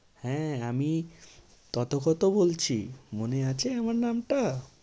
হ্যাঁ আমি তথগত বলছি মনে আছে আমার নামটা?